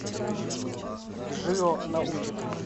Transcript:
джио научит